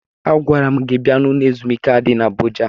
Agwara m gi bia ụlọ ezumike ahụ di n'Abụja.